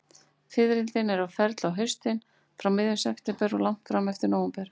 Fiðrildin eru á ferli á haustin, frá miðjum september og langt fram eftir nóvember.